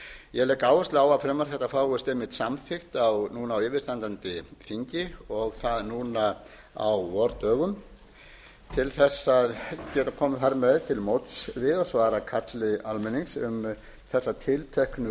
ég legg áherslu á að frumvarp þetta fáist einmitt samþykkt núna á yfirstandandi þingi og það núna á vordögum á þess að geta komið þar með til móts við að svara kalli almennings um þessar tilteknu